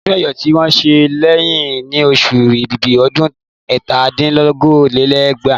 Ọdún Ẹ́yọ̀ tí wọ́n ṣe kẹ́yìn ní oṣù Èbìbì ọdún ẹ̀ta dín ní okòó-lé-ní-ẹgbàá